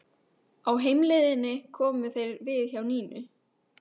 Á heimleiðinni komu þeir við hjá Nínu.